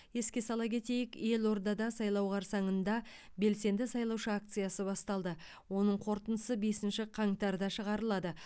еске сала кетейік елордада сайлау қарсаңында белсенді сайлаушы акциясы басталды оның қорытындысы бесінші қаңтарда шығарылады